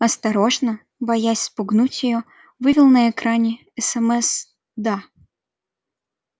осторожно боясь спугнуть её вывел на экране смс да